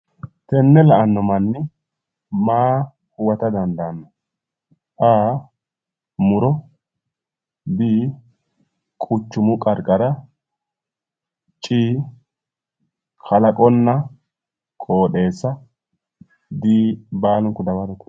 Tenne la'anno manni maa huwata dandaanno a. Muro b. Quchumu qarqara c. Kalaqonna qooxeesa D. Baalunku dawarote.